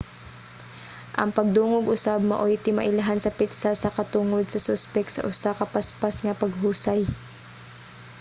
ang pagdungog usab maoy timailhan sa petsa sa katungod sa suspek sa usa ka paspas nga paghusay